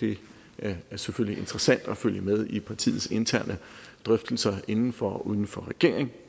det det er selvfølgelig interessant at følge med i partiets interne drøftelser inden for og uden for regering